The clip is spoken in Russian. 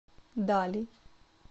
дали